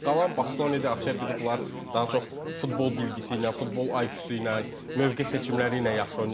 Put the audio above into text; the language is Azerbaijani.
Qalan Bastoni də, Acerbi də bunlar daha çox futbol bilgisi ilə, futbol IQ-su ilə, mövqe seçimləri ilə yaxşı oynayırlar.